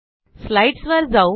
स्लाईडसवर जाऊ